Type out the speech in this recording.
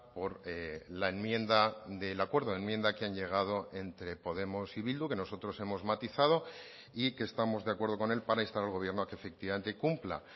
por la enmienda del acuerdo enmienda que han llegado entre podemos y bildu que nosotros hemos matizado y que estamos de acuerdo con él para instar al gobierno a que efectivamente cumpla